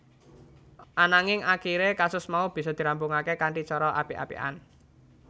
Ananging akiré kasus mau bisa dirampungaké kanthi cara apik apikan